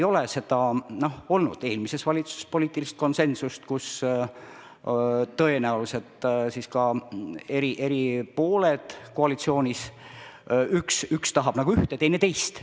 Ei olnud eelmises valitsuses seda poliitilist konsensust, kus tõenäoliselt siis ka eri pooled koalitsioonis, üks tahab ühte, teine teist.